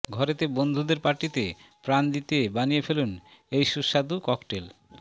ঘরেতে বন্ধুদের পার্টিতে প্রাণ দিতে বানিয়ে ফেলুন এই সুস্বাদু ককটেল